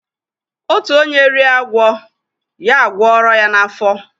Otu onye rie agwo, ya agworo ya n’afo